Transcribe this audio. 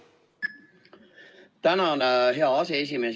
Tänan, hea aseesimees!